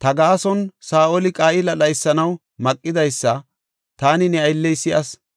ta gaason Saa7oli Qa7ila dhaysanaw maqidaysa taani ne aylley si7as.